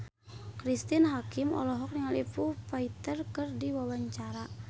Cristine Hakim olohok ningali Foo Fighter keur diwawancara